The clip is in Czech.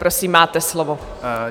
Prosím, máte slovo.